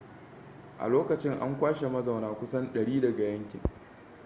a lokacin an kwashe mazauna kusan 100 daga yankin